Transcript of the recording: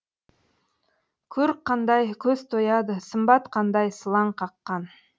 көрік қандай көз тояды сымбат қандай сылаң қаққан